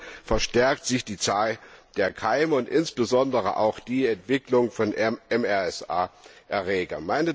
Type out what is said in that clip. Hier verstärkt sich die Zahl der Keime und insbesondere auch die Entwicklung von MRSA Erregern.